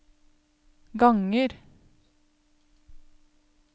ganger